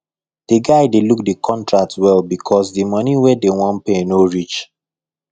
the guy dey look the contract well because the money wey dem wan pay no reach